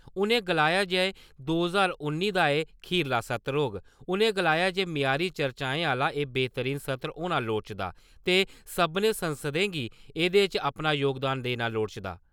उ'नें गलाया जे दो ज्हार उन्नी दा एह् खीरला सत्र होग, उ'नें गलाया जे म्यारी चर्चाएं आह्ला एह् बेह्तरीन सत्र होना लोड़चदा ते सभनें सांसदें गी एह्दे च अपना जोगदान देना लोड़चदा।